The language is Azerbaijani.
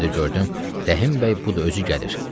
Bir də gördüm, Rəhimbəy budu özü gəlir.